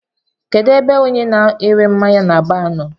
Kedụ ebe ọnye na -ere mmáñyá n'baar nọ?